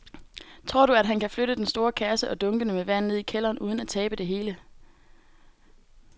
Tror du, at han kan flytte den store kasse og dunkene med vand ned i kælderen uden at tabe det hele?